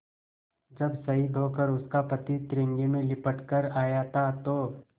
जब शहीद होकर उसका पति तिरंगे में लिपट कर आया था तो